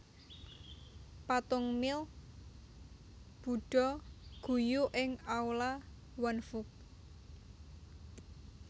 Patung Mile budha guyu ing aula Wanfuge